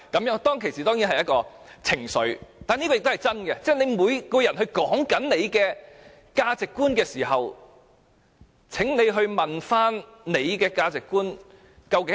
我當時的確語帶情緒，但當每個人都指出自己的價值觀的時候，請問自己的價值觀是甚麼。